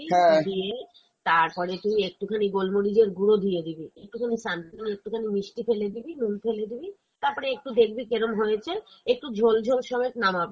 পকোড়া গুলো কে দিয়ে দিবি, দিয়ে তারপরে তুই একটু খানি গোলমরিচের গুঁড়ো দিয়ে দিবি, একটু খানি something একটুখানি মিষ্টি ফেলে দিবি, নুন ফেলে দিবি, তারপরে একটু দেখবি কেরম হয়েছে, একটু ঝোল ঝোল সমেত নামাবি ।